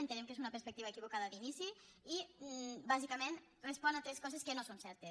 entenem que és una perspectiva equivocada d’inici i bàsicament respon a tres coses que no són certes